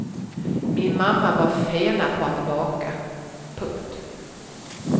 Min mamma var fena på att baka. punkt